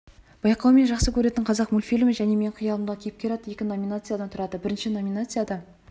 байқау мен жақсы көретін қазақ мультфильмі және менің қиялымдағы кейіпкер атты екі номинациядан тұрады бірінші номинацияда